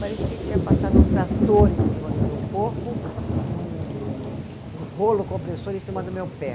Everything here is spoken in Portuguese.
Parecia que tinha passado um trator em cima do meu corpo e um um rolo compressor em cima do meu pé.